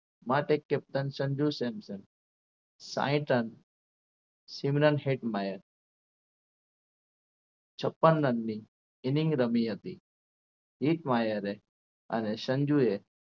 માટે captain સંજુ સેમસંગ સાહીઠ run Shimron Hetmyer છપ્પન રનની રમી હતી. ઈસ્માઈલ એ અને સંજુએ